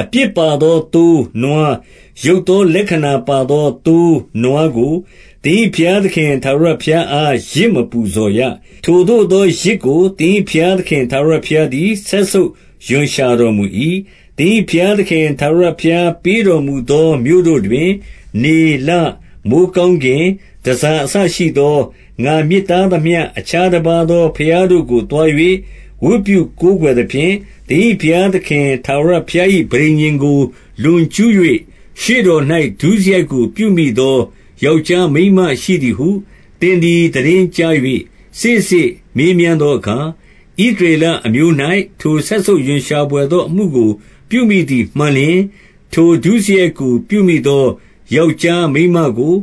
အပြစ်ပါသော သိုး၊ နွား၊ ယုတ်သောလက္ခဏာ ပါသော သိုး၊ နွားကို၊ သင်၏ဘုရားသခင် ထာဝရဘုရား အား ယဇ်မပူဇော်ရ။ ထိုသို့သော ယဇ်ကို သင်၏ဘုရား သခင် ထာဝရဘုရားသည် စက်ဆုပ်ရွံရှာတော်မူ၏။ 2 သင်၏ဘုရားသခင် ထာဝရဘုရားပေးတော်မူ သော မြို့တို့တွင်၊ 3 နေ၊ လ၊ မိုဃ်းကောင်းကင် တန်ဆာအစရှိသော ငါမြစ်တားသမျှ အခြားတပါးသော ဘုရားတို့ကို သွား၍ ဝတ်ပြုကိုးကွယ်သဖြင့်၊ သင်၏ဘုရားသခင် ထာဝရ ဘုရား၏ ပဋိညာဉ်ကို လွန်ကျူး၍၊ ရှေ့တော်၌ ဒုစရိုက်ကို ပြုမိသော ယောက်ျားမိန်းမရှိသည်ဟု၊ 4 သင်သည် သိတင်းကြား၍ စေ့စေ့မေးမြန်းသော အခါ၊ ဣသရေလအမျိုး၌ ထိုစက်ဆုပ်ရွံရှာဘွယ်သော အမှုကို ပြုမိသည်မှန်လျှင်၊ 5 ထိုဒုစရိုက်ကို ပြုမိသော ယောက်ျား မိန်းမကို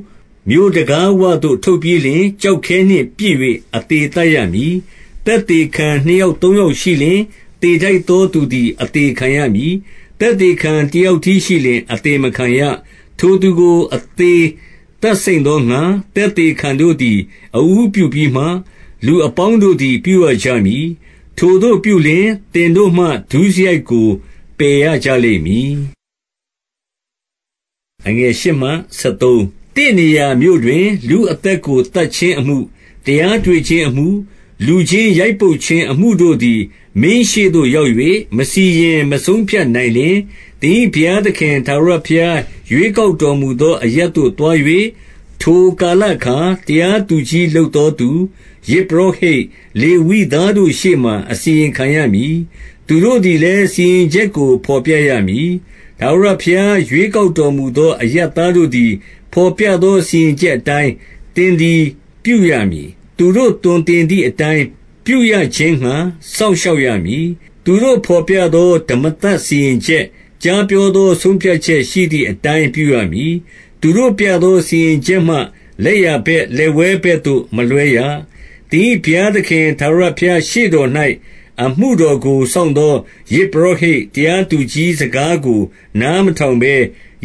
မြို့တံခါးဝသို့ ထုတ်ပြီးလျှင်၊ ကျောက်ခဲနှင့်ပစ်၍ အသေ သတ်ရမည်။ 6 သက်သေခံနှစ်ယောက် သုံးယောက်ရှိလျှင် သေထိုက်သော သူသည် အသေခံရမည်။ သက်သေခံ တယောက်တည်းရှိလျှင် အသေမခံရ။ 7 ထိုသူကို အသေသတ်စိမ့်သောငှာ၊ သက်သေခံ တို့သည် အဦးပြုပြီးမှ၊ လူအပေါင်းတို့သည် ပြုရကြမည်။ ထိုသို့ပြုလျှင် သင်တို့မှ ဒုစရိုက်ကို ပယ်ရကြလိမ့်မည်။ 8 သင့်နေရာမြို့တွင် လူအသက်ကို သတ်ခြင်းအမှု၊ တရားတွေ့ခြင်းအမှု၊ လူချင်းရိုက်ပုတ်ခြင်းအမှုတို့သည် မင်းရှေ့သို့ရောက်၍ မစီရင် မဆုံးဖြတ်နိုင်လျှင်၊ သင်၏ ဘုရားသခင် ထာဝရဘုရား ရွေးကောက်တော်မူသော အရပ်သို့ သွား၍၊ 9 ထိုကာလအခါ တရားသူကြီး လုပ်သောသူ၊ ယဇ်ပုရောဟိတ်၊ လေဝိသားတို့ရှေ့မှာ အစီရင်ခံရမည်။ သူတို့သည်လည်း စီရင်ချက်ကို ဘော်ပြရမည်။ 10 ထာဝရဘုရား ရွေးကောက်တော်မူသော အရပ် သားတို့သည် ဘော်ပြသော စီရင်ချက်အတိုင်း၊ သင်သည် ပြုရမည်။ သူတို့သွန်သင်သည်အတိုင်း ပြုရခြင်းငှာ စောင့်ရှောက်ရမည်။ 11 သူတို့ဘော်ပြသော ဓမ္မသတ်စီရင်ချက်၊ ကြား ပြောသော ဆုံးဖြတ်ချက်ရှိသည်အတိုင်း ပြုရမည်။ သူတို့ပြ သော စီရင်ချက်မှ လက်ျာဘက်၊ လက်ဝဲဘက်သို့ မလွှဲရ။ 12 သင်၏ ဘုရားသခင် ထာဝရဘုရားရှေ့တော်၌ အမှုတော်ကို စောင့်သော ယဇ်ပုရောဟိတ်၊ တရားသူကြီး စကားကို နားမထောင်ဘဲ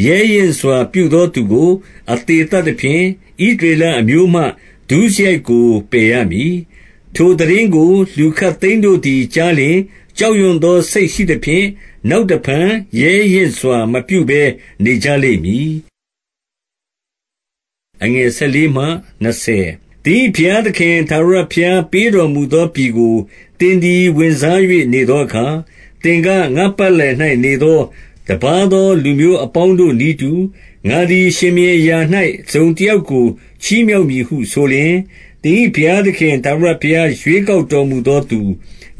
ရဲရင့်စွာပြုသောသူကို အသေ သတ်သဖြင့် ဣသရေလအမျိုးမှ ဒုစရိုက်ကို ပယ်ရမည်။ 13 ထိုသိတင်းကို လူခပ်သိမ်းတို့သည် ကြားလျှင် ကြောက်ရွံ့သောစိတ်ရှိသဖြင့် နောက်တဖန် ရဲရင့်စွာ မပြုဘဲနေကြလိမ့်မည်။ 14 သင်၏ဘုရားသခင် ထာဝရဘုရား ပေးတော်မူ သောပြည်ကို သင်သည် ဝင်စား၍ နေသောအခါ၊ သင်က၊ ငါ့ပတ်လည်၌ နေသော တပါးသော လူမျိုးအပေါင်းတို့ နည်းတူ၊ ငါသည် ရှင်ဘုရင်အရာ၌ တစုံတယောက်ကို ချီးမြှောက်မည်ဟု ဆိုလျှင်၊ 15 သင်၏ဘုရားသခင် ထာဝရဘုရား ရွေးကောက် တော်မူသောသူ၊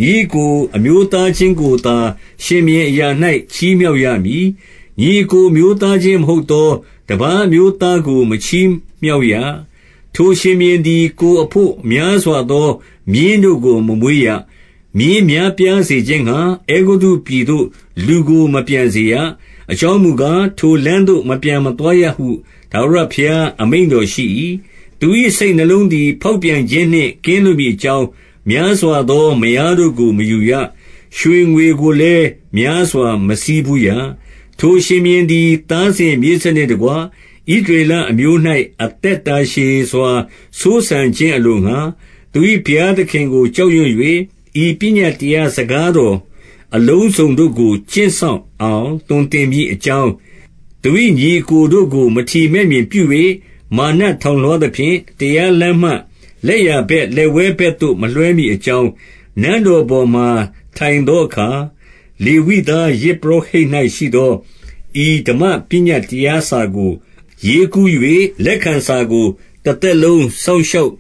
ညီအစ်ကို အမျိုးသားချင်းကိုသာ ရှင်ဘုရင်အရာ၌ ချီးမြှောက်ရမည်။ ညီအစ်ကို အမျိုးသား ချင်းမဟုတ်သော တပါးအမျိုးသားကို မချီးမြှောက်ရ။ 16 ထိုရှင်ဘုရင်သည် ကိုယ်အဘို့ များစွာသော မြင်း တို့ကို မမွေးရ။ မြင်းများပြားစေခြင်းငှာ အဲဂုတ္တုပြည်သို့ လူကို မပြန်စေရ။ အကြောင်းမူကား၊ ထိုလမ်းသို့ မပြန်မသွားရဟု ထာဝရဘုရား အမိန့်တော်ရှိ၏။ 17 သူ၏ စိတ်နှလုံးသည် ဖောက်ပြန်ခြင်းနှင့် ကင်းလွတ်မည်အကြောင်း များစွာသော မယားတို့ကို မယူ ရ။ ရွှေငွေကိုလည်း များစွာမဆည်းဖူးရ။ 18 ထိုရှင်ဘုရင်သည် သားစဉ်မြေးဆက်နှင့်တကွ၊ ဣသရေလအမျိုး၌ အသက်တာရှည်စွာ စိုးစံခြင်းအလိုငှာ၊ သူ၏ဘုရားသခင်ကို ကြောက်ရွံ့၍ ဤပညတ်တရား စကားတော်အလုံးစုံတို့ကို ကျင့်စောင့်အောင် သွန်သင် မည်အကြောင်း၊ သူ၏ညီအစ်ကိုတို့ကို မထီမဲ့မြင်ပြု၍ မာနထောင်လွှားသဖြင့်၊ တရားလမ်းမှ လက်ျာဘက်၊ လက်ဝဲဘက်သို့ မလွှဲမည်အကြောင်း၊ နန်းတော်ပေါ်မှာ ထိုင်သောအခါ လေဝိသား ယဇ်ပုရောဟိတ်၌ ရှိသော ဤဓမ္မပညတ်တရားစာကို ရေးကူး၍ လက်ခံစာကို တသက်လုံး စောင့်ရှောက်